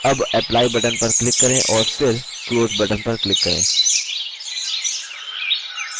अब apply button पर click करें और फिर close button पर click करें